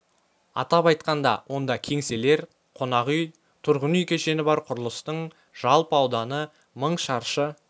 атап айтқанда онда кеңселер қонақ үй тұрғын үй кешені бар құрылыстың жалпы ауданы мың шаршы